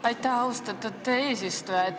Aitäh, austatud eesistuja!